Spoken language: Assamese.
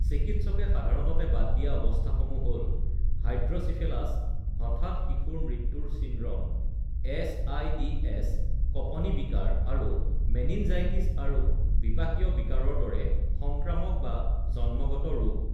চিকিৎসকে সাধাৰণতে বাদ দিয়া অৱস্থাসমূহ হ’ল হাইড্ৰ'চিফেলাছ, হঠাৎ শিশুৰ মৃত্যুৰ চিনড্ৰম (এছ.আই.ডি.এছ), কঁপনি বিকাৰ, আৰু মেনিনজাইটিছ আৰু বিপাকীয় বিকাৰৰ দৰে সংক্ৰামক বা জন্মগত ৰোগ।